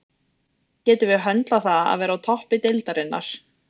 Getum við höndlað það að vera á toppi deildarinnar?